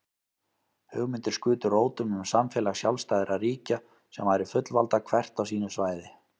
Hugmyndir skutu rótum um samfélag sjálfstæðra ríkja sem væru fullvalda hvert á sínu svæði.